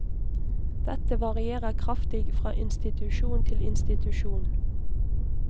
Dette varierer kraftig fra institusjon til institusjon.